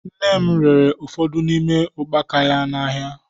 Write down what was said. Nne m rere ụfọdụ n'ime ukpaka ya n'ahịa.